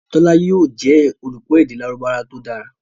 Tola yóò jẹ olùkọ èdè Lárúbáwá to dára